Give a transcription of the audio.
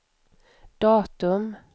datum